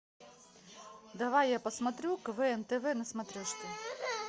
давай я посмотрю квн тв на смотрешке